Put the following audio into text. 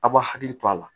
A b'aw hakili to a la